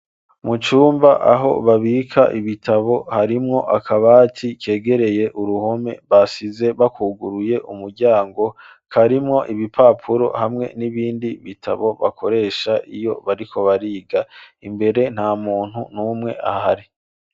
Mucumba aho babika ibitabo harimwo akabati kegereye uruhome basize bakuguruye umuryango karimwo ibipapuro hamwe n'ibindi bitabo bakoresha iyo bariko bariga imbere nta muntu n'umwe ahari.